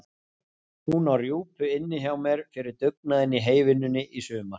Hún á rjúpu inni hjá mér fyrir dugnaðinn í heyvinnunni í sumar.